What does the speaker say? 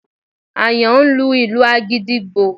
Àyàn ń lu ìlù àgídìgbo